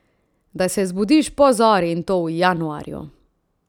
Da se zbudiš po zori, in to v januarju!